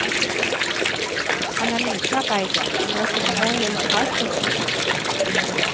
Analysearbeidet vil resultere i en kravspesifikasjon.